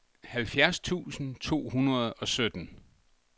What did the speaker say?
halvfjerds tusind to hundrede og sytten